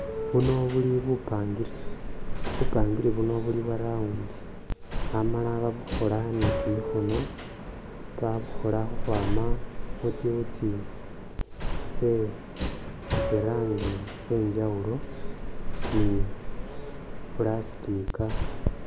Bino bili bipangiri, bupangiri buno buliu bwo round ano babukhola ne kimikhono, babukhola khukhwama mutsiwutsi tse tsiranji tsenjawulo ni plastica.